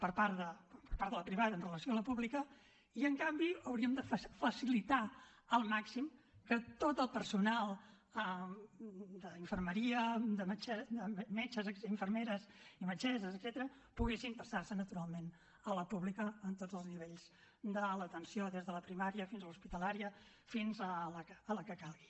per part de la privada amb relació a la pública i en canvi hauríem de facilitar al màxim que tot el personal d’infermeria de metges infermeres i metgesses etcètera poguessin passar se naturalment a la pública en tots els nivells de l’atenció des de la primària fins a la hospitalària fins a la calgui